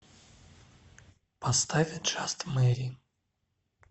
поставь джаст мэри